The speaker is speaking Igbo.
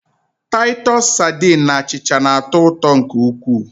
Taịtọs sadin na achịcha na-atọ ụtọ nke ukwuu.